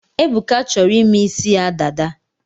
Ebuka chọrọ ime ịsị ya dada